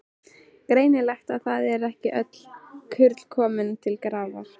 Greinilegt að það eru ekki öll kurl komin til grafar!